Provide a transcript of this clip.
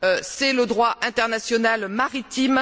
C'est le droit international maritime.